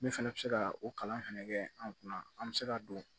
Min fɛnɛ bɛ se ka o kalan fɛnɛ kɛ an kunna an bɛ se ka don